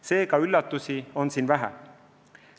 Seega üllatusi on siin vähe.